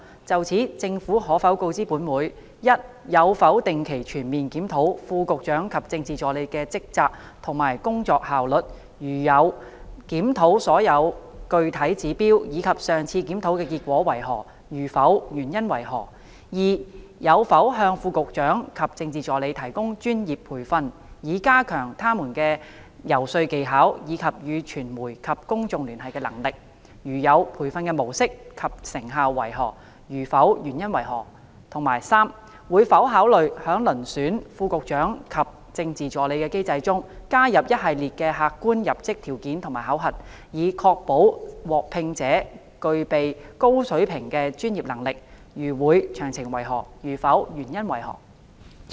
就此，政府可否告知本會：一有否定期全面檢討副局長及政治助理的職責及工作效率；如有，檢討所用具體指標，以及上次檢討的結果為何；如否，原因為何；二有否向副局長及政治助理提供專業培訓，以加強他們的游說技巧，以及與傳媒及公眾聯繫的能力；如有，培訓的模式及成效為何；如否，原因為何；及三會否考慮在遴選副局長及政治助理的機制中，加入一系列的客觀入職條件和考核，以確保獲聘者具備高水平的專業能力；如會，詳情為何；如否，原因為何？